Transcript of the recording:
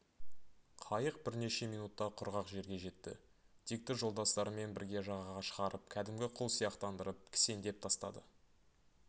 қайық бірнеше минутта құрғақ жерге жетті дикті жолдастарымен бірге жағаға шығарып кәдімгі құл сияқтандырып кісендеп тастады